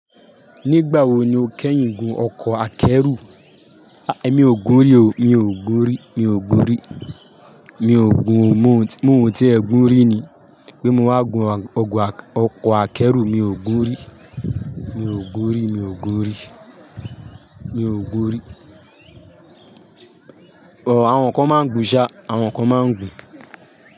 Nígbà wo ni o kẹ́yìn gun ọkọ̀ akẹ́rù? Aì é, mi ò gun rí o, mi ò gun rí, mi ò gun rí. Mi ò gun, mò ń ti ẹ̀ gùn rí ni. Pé mo wá gun ọkọ̀ akẹ́rù, mi ò gun rí. Mi ò gun rí, mi ò gun rí. Mi ò gun rí. Ò, àwọn kan máa ń gun ṣa, àwọn kan máa ń gun.